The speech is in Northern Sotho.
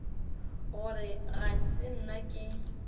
gore ga se nna ke